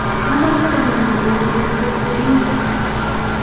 amache konama ruondo eng chepchepindo